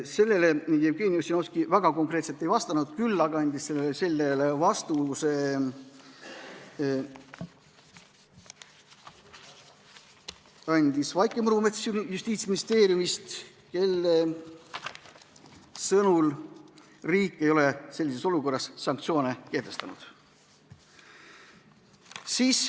Sellele Jevgeni Ossinovski väga konkreetselt ei vastanud, küll aga andis vastuse Justiitsministeeriumi esindaja Vaike Murumets, kelle sõnul riik ei ole selliseks olukorraks sanktsioone kehtestanud.